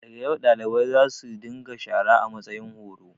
Da ga yau, dalibai za su dinga shara a matsayin horo.